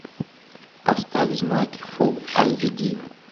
поставь знаки фул айч ди